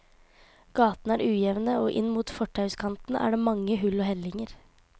Gatene er ujevne, og inn mot fortauskanten er det mange hull og hellinger.